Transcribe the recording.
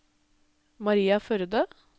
Maria Førde